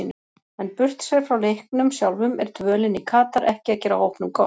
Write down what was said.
En burtséð frá leiknum sjálfum, er dvölin í Katar ekki að gera hópnum gott?